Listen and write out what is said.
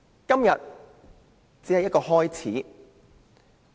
今天只是一個開始。